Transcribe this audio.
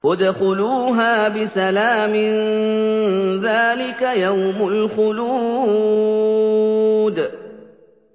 ادْخُلُوهَا بِسَلَامٍ ۖ ذَٰلِكَ يَوْمُ الْخُلُودِ